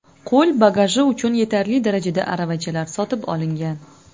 Qo‘l bagaji uchun yetarli darajada aravachalar sotib olingan.